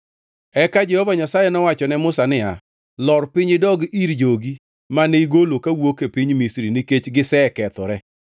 Eka Jehova Nyasaye nowacho ne Musa niya, “Lor piny idog ir jogi mane igolo kawuok e piny Misri nikech gisekethore”